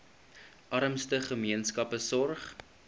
armste gemeenskappe sorg